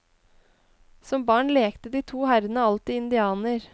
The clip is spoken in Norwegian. Som barn lekte de to herrene alltid indianer.